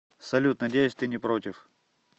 салют надеюсь ты не против